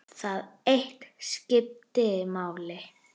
Það eitt skipti máli.